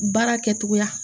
Baara kɛtogoya